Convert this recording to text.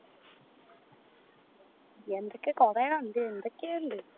എന്തൊക്കെയോ കൊറേ കണ്ടിനു എന്തൊക്കെയോ ഇണ്ട്